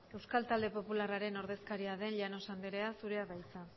euskal talde popularraren ordezkaria den llanos andrea zurea da hitza